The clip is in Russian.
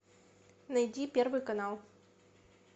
найди первый канал